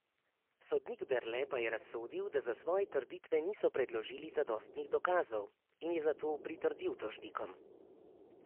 Sodnik Berle pa je razsodil, da za svoje trditve niso predložili zadostnih dokazov, in je zato pritrdil tožnikom.